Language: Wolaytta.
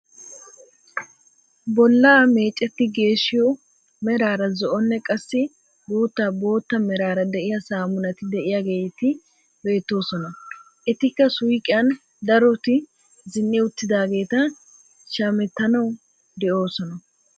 Bollaa mecetti geeshshiyoo meraara zo'onne qassi guutta bootta meraara de'iyaa saamunati de'iyaageti beettoosona. etikka suyiqiyaan daroti zin"i uttidaageti shamettanawu de'oosona.